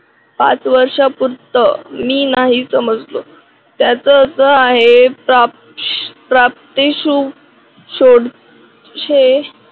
पाच वर्षा पूरत मी नाही समजलो त्याच असा आहे. प्राप्त प्राप्ती शु सोड